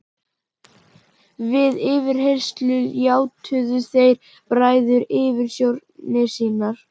Við yfirheyrslur játuðu þeir bræður yfirsjónir sínar.